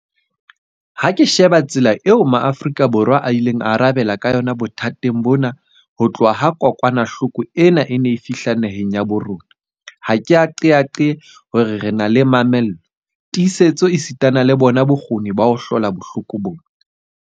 Ha ke sheba tsela eo Maafrika Borwa a ileng a arabela ka yona bothateng bona ho tloha ha kokwanahloko ena e ne e fihla naheng ya habo rona, ha ke qeaqee hore re na le mamello, tiisetso esitana le bona bokgoni ba ho hlola bohloko bona.